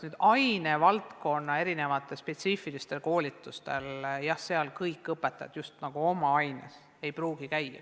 Oma ainevaldkonna spetsiifilistel koolitustel ei pruugi kõik õpetajad käia.